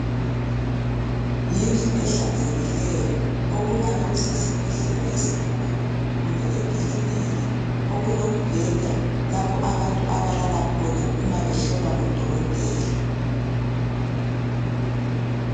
Yindlu ehlanzekileyo, okungabe kusesibhedlela esikhulu kumbe enkiliniki. Okulombeda lapho abantu abalala khona umabehlolwa khona ngudokotela.